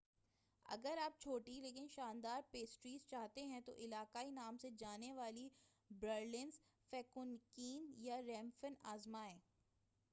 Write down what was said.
اگر آپ چھوٹی لیکن شاندار پیسٹریز چاہتے ہیں تو علاقائی نام سے جانی جانے والی برلنر فینکوکین یا ریپفین آزمائیں